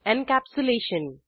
encapsulation